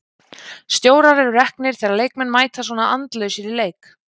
Stjórar eru reknir þegar leikmenn mæta svona andlausir í leik.